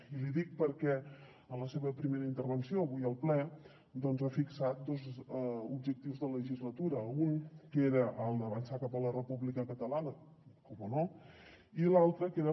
i l’hi dic perquè en la seva primera intervenció avui al ple doncs ha fixat dos objectius de legislatura un que era el d’avançar cap a la república catalana cómo no i l’altre que era